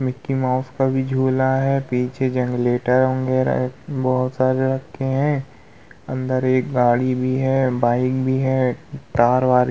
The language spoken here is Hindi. मिकी माउस का भी झुला है पीछे जनरेटर वगेरा है बहुत सारे रखे है अंदर एक गाड़ी भी है बाइक भी है तार-वार --